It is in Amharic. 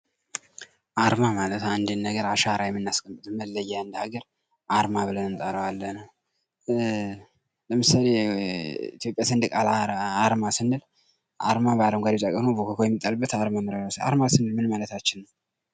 አርማ ማለት አንድን ነገር አሻራ የምናስቀምጥበት አርማ ብለን እንጠራዋለን ።ለምሳሌ የኢትዮጵያ ሰንደቅ አላማ አርማ ስንል አረንጓደ ቢጫ ቀይ ሆኖ አርማ ስንል ምን ማለታችን ነው?